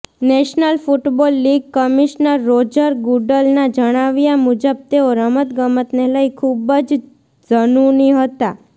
national football league commissioner Roger ગુુડલના જણાવ્યા મુજબ તેઓ રમતગમતને લઇ ખૂબ જ ઝનૂની હતા